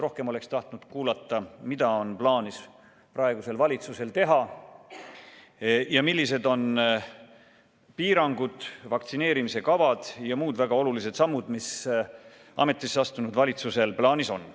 Rohkem oleks tahtnud kuulata, mida on plaanis praegusel valitsusel teha, millised on piirangud, vaktsineerimiskavad ja muud väga olulised sammud, mis ametisse astunud valitsusel kavas on.